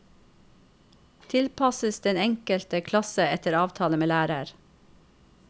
Tilpasses den enkelte klasse etter avtale med lærer.